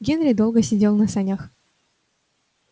генри долго сидел на санях